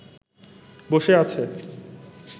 বসে আছে